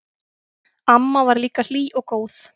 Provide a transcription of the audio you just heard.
Amma var líka hlý og góð.